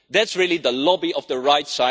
That is really the lobby of the right.